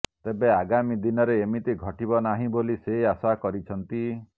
ତେବେ ଆଗାମୀ ଦିନରେ ଏମିତି ଘଟିବନାହିଁ ବୋଲି ସେ ଆଶା କରିଛନ୍ତି